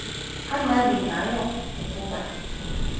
amnandi ngayo kukuba